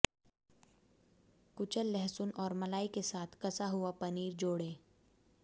कुचल लहसुन और मलाई के साथ कसा हुआ पनीर जोड़ें